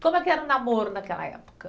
Como é que era o namoro naquela época?